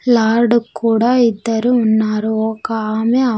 Lord కూడా ఇద్దరు ఉన్నారు ఒక ఆమె ఆ.